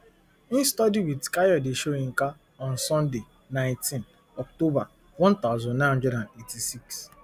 im study wit kayode soyinka on sunday nineteen october one thousand, nine hundred and eighty-six